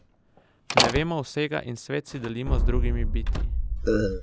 Ne vemo vsega in svet si delimo z drugimi bitji.